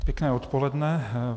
Pěkné odpoledne.